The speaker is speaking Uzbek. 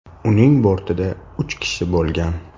Uning bortida uch kishi bo‘lgan.